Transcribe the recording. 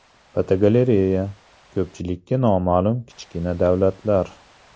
Fotogalereya: Ko‘pchilikka noma’lum kichkina davlatlar.